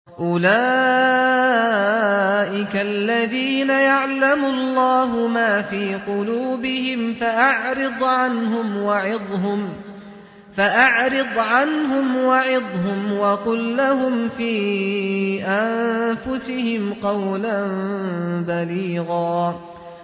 أُولَٰئِكَ الَّذِينَ يَعْلَمُ اللَّهُ مَا فِي قُلُوبِهِمْ فَأَعْرِضْ عَنْهُمْ وَعِظْهُمْ وَقُل لَّهُمْ فِي أَنفُسِهِمْ قَوْلًا بَلِيغًا